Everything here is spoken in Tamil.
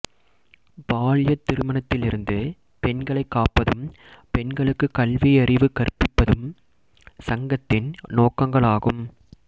பால்யத் திருமணத்திலிருந்து பெண்களைக் காப்பதும் பெண்களுக்கு கல்வியறிவு கற்பிப்பதும் சங்கத்தின் நோக்கங்களாகும்